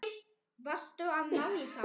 Varstu að ná í þá?